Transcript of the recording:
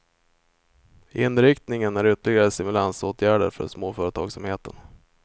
Inriktningen är ytterligare stimulansåtgärder för småföretagsamheten.